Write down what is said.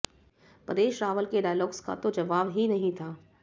परेश रावल के डायलॉग्स का तो जवाब ही नहीं था